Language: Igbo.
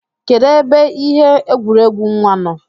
Kedu ebe ihe egwuregwu nwa nọ?